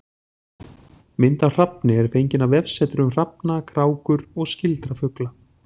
Mynd af hrafni er fengin af vefsetri um hrafna, krákur og skyldra fugla.